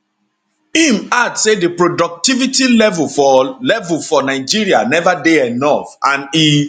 im add say di productivity level for level for nigeria neva dey enough and e